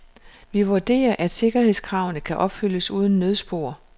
Vi vurderer, at sikkerhedskravene kan opfyldes uden nødspor.